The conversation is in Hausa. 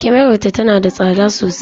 Kyamarar ta tana da tsada sosai.